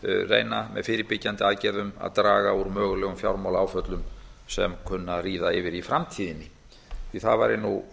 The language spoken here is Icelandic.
reyna með fyrirbyggjandi aðgerðum að draga úr mögulegum fjármálaáföllum sem kunna að ríða yfir í framtíðinni því að það væri nú